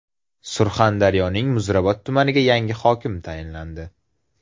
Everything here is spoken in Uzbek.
Surxondaryoning Muzrabot tumaniga yangi hokim tayinlandi.